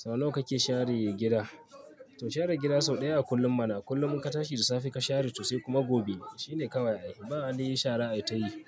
Sau nawa kake share gida? To share gida sau ɗaya a kullum mana. Kullum in ka tashi da safe ka share to sai kuma gobe shine kawai. Ba wani shara ai tayi.